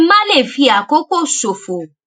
kí n má lè fi àkókò ṣòfò